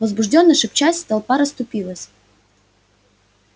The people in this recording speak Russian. возбуждённо шепчась толпа расступилась